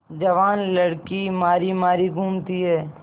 जवान लड़की मारी मारी घूमती है